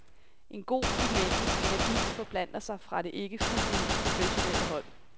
En god dynamisk energi forplanter sig fra det ikke fuldtud professionelle hold.